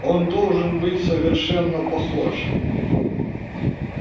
он должен быть совершенно похож